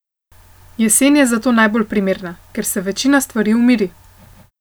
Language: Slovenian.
Jesen je zato najbolj primerna, ker se večina stvari umiri.